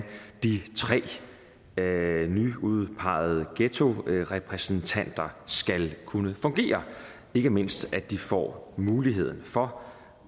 de tre nyudpegede ghettorepræsentanter skal kunne fungere ikke mindst at de får muligheden for